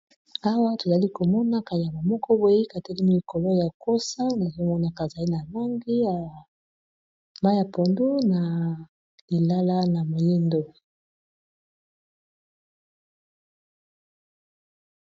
Awa tozali komona kanyama moko boye katelimi likolo ya kosa nazomona kazali na langi ya mayi ya pondu na lilala na moyindo.